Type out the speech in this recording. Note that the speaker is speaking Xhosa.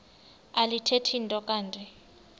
alithethi nto kanti